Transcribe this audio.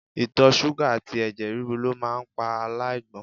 Itọ ṣuga ati ẹ̀jẹ̀ ríru lo maa pa alaigbon